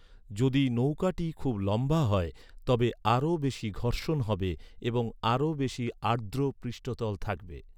যদি নৌকাটি খুব লম্বা হয়, তবে আরও বেশি ঘর্ষণ হবে এবং আরও বেশি আর্দ্র পৃষ্ঠতল থাকবে।